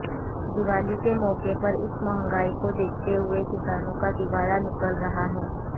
दिवाली के मौके पर इस महंगाई को देखते हुए किसानों का दिवाला निकल रहा है